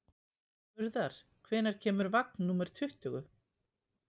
Urðar, hvenær kemur vagn númer tuttugu?